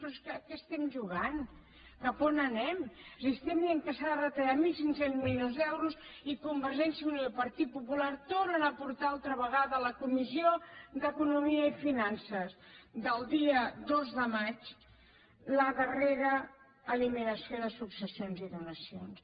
però a què estem jugant cap a on anem si estem dient que s’ha de retallar mil cinc cents milions d’euros i convergència i unió i partit popular tornen a portar altra vegada a la comissió d’economia i finances del dia dos de maig la darrera eliminació de successions i donacions